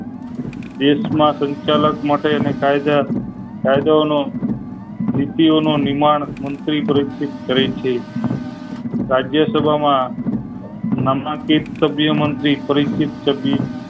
દેશ માં સંચાલક માટે કાયદા કાયદા ઓનો નીતિ ઓનો નિર્માણ મંત્રી પ્રોક્ષીત કરે છે રાજ્યસભા માં નામાંકિત સભ્યમાંતી પરિચિત